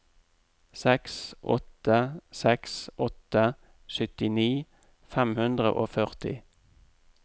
seks åtte seks åtte syttini fem hundre og førti